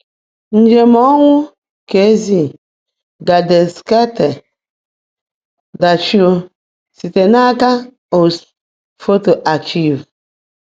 Njem ọnwụ: KZ - Gedenkstätte Dachau, site n’aka USHMM Photo Archives